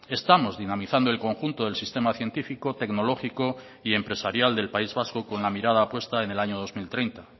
estamos dinamizando el conjunto del sistema científico tecnológico y empresarial del país vasco con la mirada puesta en el año dos mil treinta